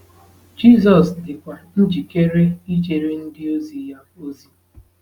Jizọs dịkwa njikere ijere ndịozi ya ozi.